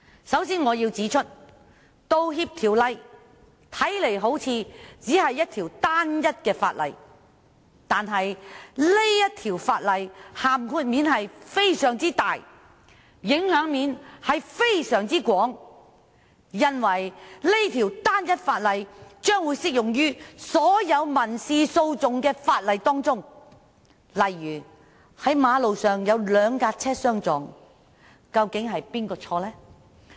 首先，我要指出，《道歉條例》看來好像只是一項單一法例，但這項條例的涵蓋及影響範圍廣闊，因為這項條例將會適用於所有民事訴訟的法例，例如當馬路上兩車相撞，究竟是誰的錯呢？